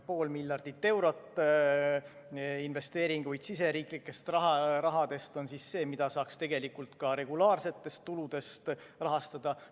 Pool miljardit eurot investeeringuid riigisisesest rahast on see, mida saaks ka regulaarsetest tuludest rahastada.